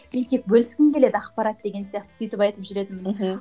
мен тек бөліскім келеді ақпарат деген сияқты сөйтіп айтып жүретінмін мхм